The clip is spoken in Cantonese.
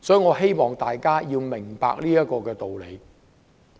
我希望大家明白這個道理。